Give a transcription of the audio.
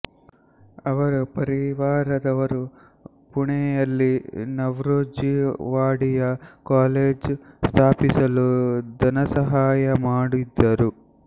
ಅವರ ಪರಿವಾರದವರು ಪುಣೆಯಲ್ಲಿ ನವ್ರೋಜ್ ಜಿ ವಾಡಿಯ ಕಾಲೇಜ್ ಸ್ಥಾಪಿಸಲು ಧನಸಹಾಯಮಾಡಿದರು